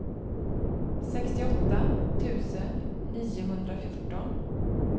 sextioåtta tusen niohundrafjorton